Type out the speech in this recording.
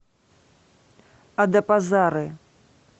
адапазары